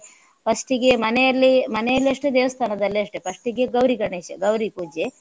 first ಗೆ ಮನೆಯಲ್ಲಿ ಮನೆಯಲ್ಲಿಯೂ ಅಷ್ಟೇ ದೇವಸ್ಥಾನದಲ್ಲೂ ಅಷ್ಟೇ first ಗೆ ಗೌರಿ ಗಣೇಶ ಗೌರಿ ಪೂಜೆ.